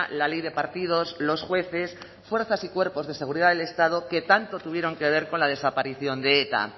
la ley de partidos los jueces fuerzas y cuerpos de seguridad del estado que tanto tuvieron que ver con la desaparición de eta